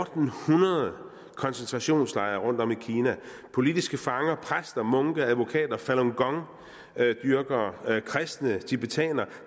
hundrede koncentrationslejre rundtom i kina politiske fanger præster munke advokater falun gong dyrkere kristne tibetanere